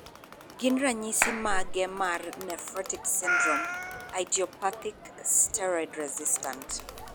Ginnranyisis mage mar Nephrotic syndrome, idiopathic, steroid resistant?